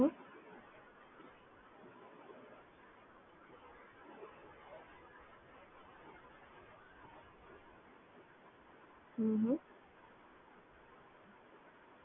હુમ